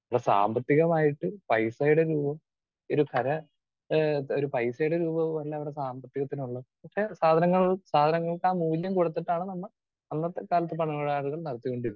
Speaker 2 ല്ല സാമ്പത്തികമായിട്ട് പൈസയുടെ രൂപം ഒരു ഖര ഏഹ് ഒരു പൈസയുടെ രൂപം അല്ല ഇവിടെ സാമ്പത്തികത്തിന് ഉള്ളത്. പക്ഷേ സാധനങ്ങൾ സാധനങ്ങൾക്ക് ആ മൂല്യം കൊടുത്തിട്ടാണ് അന്നത്തെ കാലത്ത് പണമിടപാടുകൾ നടത്തിക്കൊണ്ടിരുന്നത്.